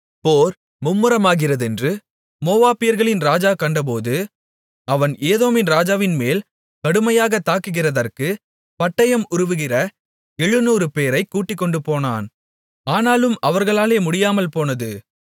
போர் மும்முரமாகிறதென்று மோவாபியர்களின் ராஜா கண்டபோது அவன் ஏதோமின் ராஜாவின்மேல் கடுமையாகத் தாக்குகிறதற்குப் பட்டயம் உருவுகிற எழுநூறுபேரைக் கூட்டிக்கொண்டுபோனான் ஆனாலும் அவர்களாலே முடியாமல்போனது